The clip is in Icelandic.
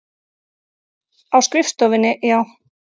Á skrifstofunni, já.